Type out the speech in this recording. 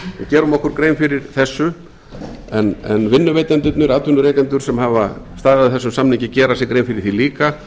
gerum okkur grein fyrir þessu en vinnuveitendurnir atvinnurekendur sem hafa staðið að þessum samningi gera sér grein fyrir því líka